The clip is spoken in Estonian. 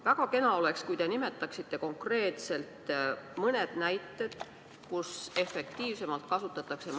Väga kena oleks, kui te nimetaksite konkreetselt mõned näited, kuidas maksumaksja raha efektiivsemalt kasutatakse.